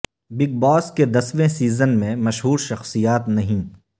big Boss کے دسویں season میں مشہور شخصیات نہیں